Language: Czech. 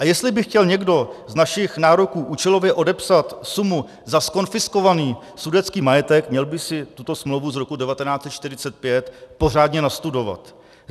A jestli by chtěl někdo z našich nároků účelově odepsat sumu za zkonfiskovaný sudetský majetek, měl by si tuto smlouvu z roku 1945 pořádně nastudovat.